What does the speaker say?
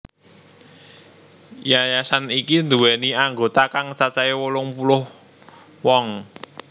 Yayasan iki nduwèni anggota kang cacahé wolung puluh wong